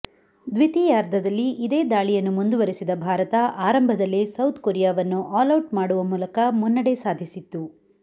ದ್ವಿತೀಯಾರ್ಧದಲ್ಲಿ ಇದೇ ದಾಳಿಯನ್ನು ಮುಂದುವರೆಸಿದ ಭಾರತ ಆರಂಭದಲ್ಲೇ ಸೌತ್ ಕೊರಿಯಾವನ್ನು ಆಲೌಟ್ ಮಾಡುವ ಮೂಲಕ ಮುನ್ನಡೆ ಸಾಧಿಸಿತು